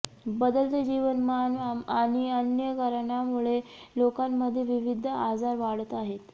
बदलते जीवनमान आणि अन्य कारणामुळे लोकांमध्ये विविध आजार वाढत आहेत